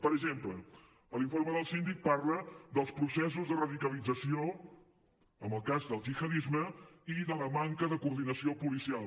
per exemple l’informe del síndic parla dels processos de radicalització en el cas del gihadisme i de la manca de coordinació policial